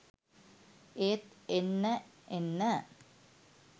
ඒත් එන්න එන්න